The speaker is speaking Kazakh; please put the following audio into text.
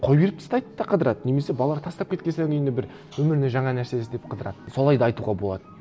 қоя беріп тастайды да қыдырады немесе балалары тастап кеткен соң енді бір өміріне жаңа нәрсе іздеп қыдырады солай да айтуға болады